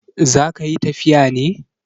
Za ka yi tafiya ne?